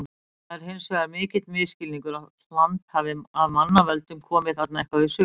Það er hins vegar mikill misskilningur að hland af mannavöldum komi þarna eitthvað við sögu.